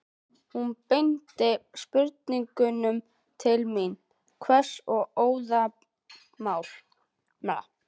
Hún beindi spurningunum til mín, hvöss og óðamála.